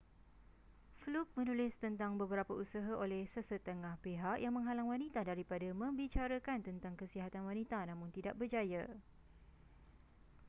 fluke menulis tentang beberapa usaha oleh sesetengah pihak yang menghalang wanita daripada membicarakan tentang kesihatan wanita namun tidak berjaya